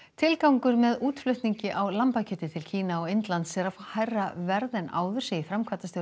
tilgangur með útflutningi á lambakjöti til Kína og Indlands er að fá hærra verð en áður segir framkvæmdastjóri